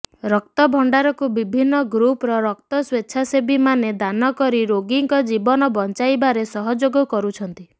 ରକ୍ତଭଣ୍ଡାରକୁ ବିଭିନ୍ନ ଗ୍ରୁପର ରକ୍ତ ସ୍ବେଚ୍ଛାସେବୀମାନେ ଦାନ କରି ରୋଗୀଙ୍କ ଜୀବନ ବଞ୍ଚାଇବାରେ ସହଯୋଗ କରୁଛନ୍ତି